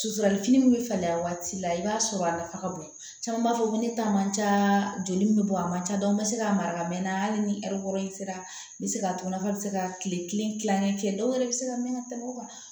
Susuli fini min bɛ falen a waati la i b'a sɔrɔ a nafa ka bon caman b'a fɔ ko ne ta man ca joli min bɛ bɔ a man ca dɔw bɛ se k'a mara ka mɛn hali ni ɛri wɔɔrɔ in sera n bɛ se k'a to nafa bɛ se ka tile kelen dilan dɔw yɛrɛ bɛ se ka mɛn ka tɛmɛ o kan